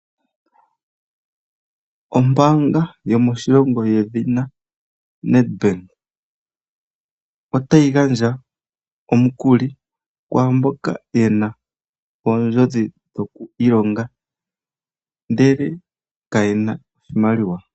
Ombaanga yomoshilongo yedhina Nedbank otayi gandja omukuli kwaamboka ye na oondjodhi dhoku ka ilonga ndele kayena iimaliwa.